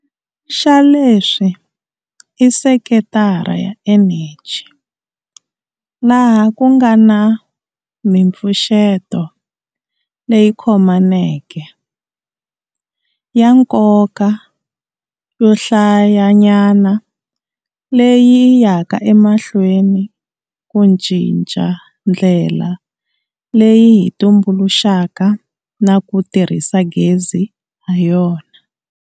Xa leswi i sekitara ya eneji, laha ku nga na mipfuxeto leyi khomaneke, ya nkoka yo hlayanyana leyi yi yaka emahlweni ku cinca ndlela leyi hi tumbuluxaka na ku tirhisa gezi hayona.